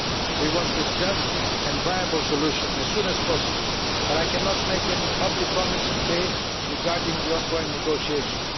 We want a just and viable solution as soon as possible, but I cannot make any public comments today regarding the on going negotiations.